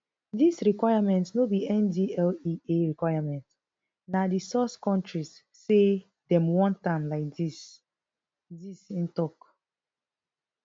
dis requirement no be ndlea requirement na di source kontris say dem want am like dis dis im tok